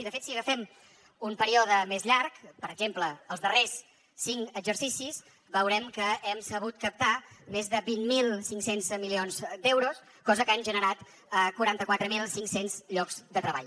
i de fet si agafem un període més llarg per exemple els darrers cinc exercicis veurem que hem sabut captar més de vint mil cinc cents milions d’euros cosa que ha generat quaranta quatre mil cinc cents llocs de treball